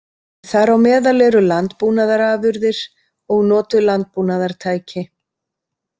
Þar á meðal eru landbúnaðarafurðir og notuð landbúnaðartæki.